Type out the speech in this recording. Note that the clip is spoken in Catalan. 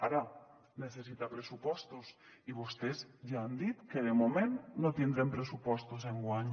ara necessita pressupostos i vostès ja han dit que de moment no tindrem pressupostos enguany